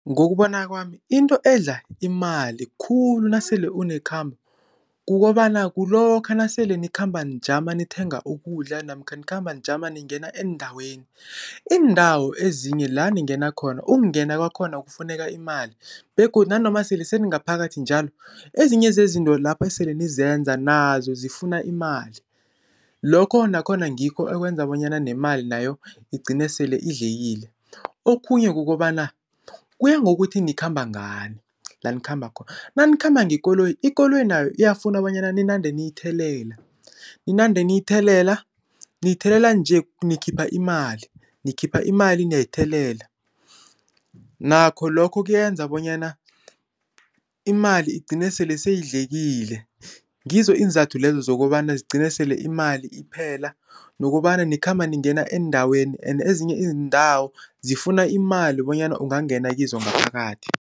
Ngokubona kwami into edla imali khulu nasele unekhambo kukobana, kulokha nasele nikhamba nijama nikuthenga ukudla namkha nikhamba nijama ningena eendaweni. Iindawo ezinye la ningena khona, ukungena kwakhona kufuneka imali begodu nanoma sele senigaphakathi njalo, ezinye zezinto lapho esele nizenza nazo zifuna imali. Lokho nakhona ngikho okwenza bonyana nemali nayo igcine sele idlekile. Okhunye kukobana kuya ngokuthi nikhamba ngani la nikhamba khona. Nanikhamba ngekoloyi ikoloyi nayo iyafuna bonyana ninande niyithelela, ninande niyithelela. Niyithelela nje nikhipha imali, nikhipha imali niyayithelela, nakho lokho kuyenza bonyana imali igcine sele seyidlekile. Ngizo iinzathu lezo zokobana zigcine sele imali iphela. Nokobana nikhamba ningena endaweni ende ezinye iindawo zifuna imali bonyana ungangena kizo ngaphakathi.